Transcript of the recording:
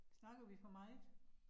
Snakker vi for meget?